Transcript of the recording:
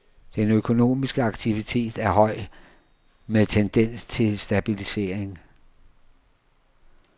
Den økonomiske aktivitet er høj med tendens til stabilisering.